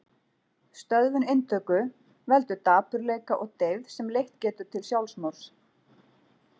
Stöðvun inntöku veldur dapurleika og deyfð sem leitt getur til sjálfsmorðs.